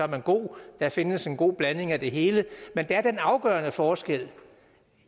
man god der findes en god blanding af det hele men der er den afgørende forskel